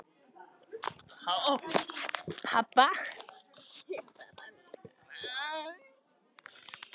Hafa þá pabbi þinn og mamma gert það tvisvar?